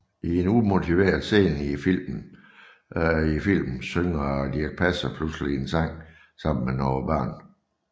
I en umotiveret scene i filmen synger Dirch Passer pludselig en sang sammen med nogle børn